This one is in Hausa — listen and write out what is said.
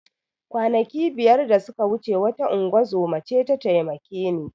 Kwanaki biyar da suka wuce wata ingozuma ce ta taimake ni